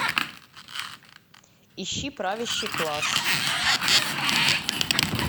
ищи правящий класс